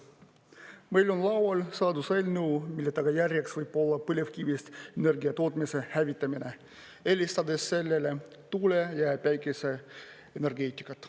Meil on laual seaduseelnõu, mille tagajärjeks võib olla põlevkivist energia tootmise hävitamine, eelistades sellele tuule‑ ja päikeseenergeetikat.